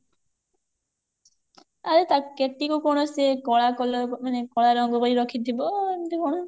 ଆରେ ତା କେଟିକୁ କୌଣସି କଳା colour ମାନେ କଳା ରଙ୍ଗ ପାଇଁ ରଖିଥିବ ଏମିତି କଣ